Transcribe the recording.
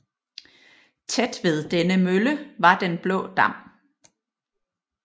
Tæt ved denne Mølle var den blaa Dam